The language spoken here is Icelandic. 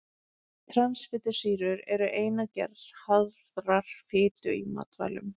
Transfitusýrur eru ein gerð harðrar fitu í matvælum.